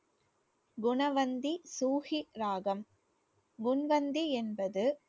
குணவந்தி சூகி ராகம் முன்வந்தி என்பது